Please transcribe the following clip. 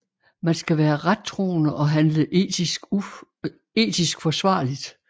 Man skal være rettroende og handle etisk forsvarligt